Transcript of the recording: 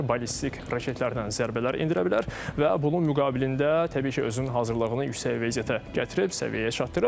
Ballistik raketlərdən zərbələr endirə bilər və bunun müqabilində təbii ki özünün hazırlığını yüksək vəziyyətə gətirib, səviyyəyə çatdırıb.